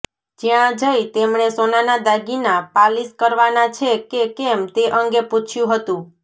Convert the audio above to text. જ્યાં જઈ તેમણે સોનાના દાગીના પાલીસ કરવાના છે કે કેમ તે અંગે પૂછ્યું હતું